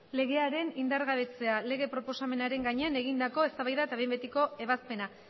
legea indargabetzeko lege proposamenaren gainean egindakoa eztabaida eta behin betiko ebazpena